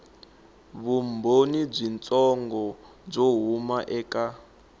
vumbhoni byitsongo byo huma eka